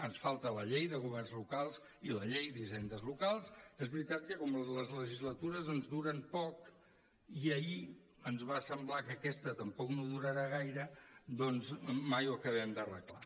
ens falten la llei de governs locals i la llei d’hisendes locals que és veritat que com que les legislatures ens duren poc i ahir ens va semblar que aquesta tampoc no durarà gaire doncs mai ho acabem d’arreglar